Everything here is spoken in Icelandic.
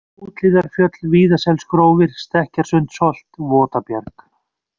Úthlíðarfjöll, Víðaselsgrófir, Stekkjarsundsholt, Votabjarg